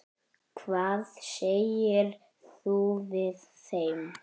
Hvað segir þú við þeim?